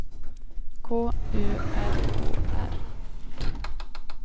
K U L O R